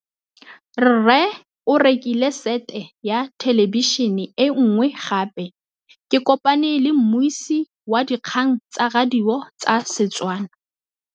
Rre o rekile sete ya thêlêbišênê e nngwe gape. Ke kopane mmuisi w dikgang tsa radio tsa Setswana.